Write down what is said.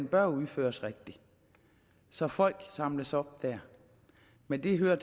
bør udføres rigtigt så folk samles op dér men det hører